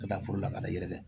Ka taa foro la ka na yɛrɛ